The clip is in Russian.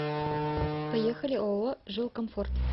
поехали ооо жилкомфорт